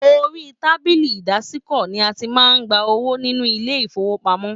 Orí tábìlì ìdásìkò ní a tí màá n gbà owó nínú ilé ifowopamọ.